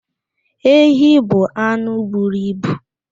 Ehi bụ anụ buru ibu.